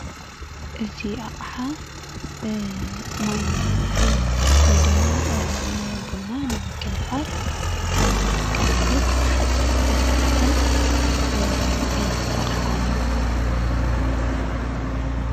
እዚ ኣቕሓ ማይ ንምዉዓይ ወይ ድማ ንቡና ንምግንፋል ንጥቀመሉ ካብ ሓፂን ዝተሰርሐ ዓይነት ኣቕሓ እዩ።